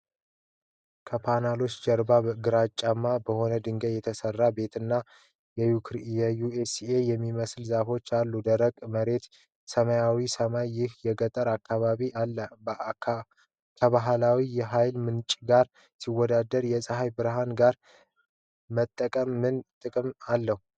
ከፓናሎቹ ጀርባ ግራጫማ በሆነ ድንጋይ የተሠራ ቤትና የዩካሊፕተስ የሚመስሉ ዛፎች አሉ። ደረቅ መሬትና ሰማያዊው ሰማይ ይህን የገጠር አካባቢ አል። ከባህላዊ የኃይል ምንጮች ጋር ሲወዳደር የፀሐይ ብርሃን ኃይል መጠቀም ምን ጥቅሞች አሉት?